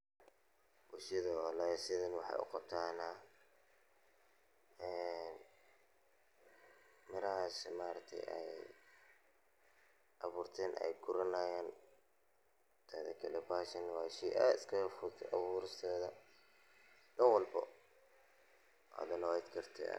Bulshada walahi sidhan waxey uqabtaana mirahas maaragti ey abuurteen ey guranayaan teedha kale bahashan waa shey aad iskagafudhud abuuristeedha dan walbo.